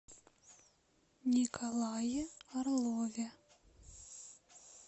николае орлове